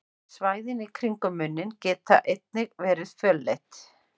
Svæðið í kringum munninn getur einnig virkað fölleitt.